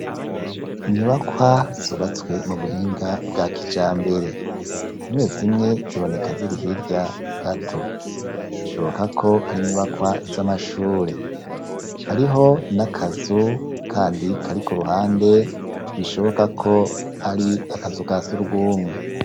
Inyubakwa subatswe mu buhinga bwa kijambere, zimwe zimwe ziboneka zirihirya gato, bishoboka ko ari inyubakwa z'amashure hariho ni akazu, kandi kari ku ruhande bishoboka ko ari akazu ka surw'umwe.